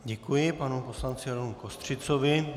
Děkuji panu poslanci Romu Kostřicovi.